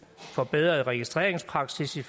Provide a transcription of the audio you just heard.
forbedrede registreringspraksis i